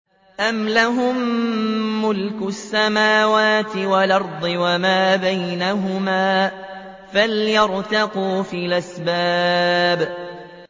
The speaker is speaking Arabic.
أَمْ لَهُم مُّلْكُ السَّمَاوَاتِ وَالْأَرْضِ وَمَا بَيْنَهُمَا ۖ فَلْيَرْتَقُوا فِي الْأَسْبَابِ